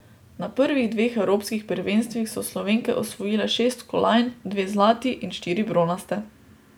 Na prvih dveh evropskih prvenstvih so Slovenke osvojile šest kolajn, dve zlati in štiri bronaste.